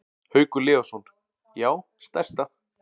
Haukur Leósson: Já stærsta.